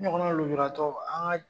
N ɲɔgɔn na lujuratɔw an kan.